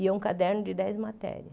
E é um caderno de dez matérias.